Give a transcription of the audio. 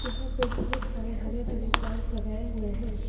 यहां पर बहुत सारे हरे भरे प्लांट्स लगाए हुए है।